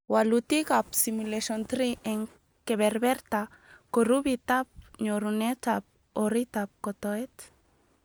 Walutik ab Simulation 3 eng kebeberta, kurupitab nyorunet ak oritab kotoet